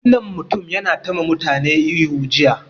Mutumin nan yana ta ma mutane ihu jiya